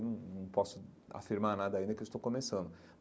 Não não posso afirmar nada ainda, que eu estou começando.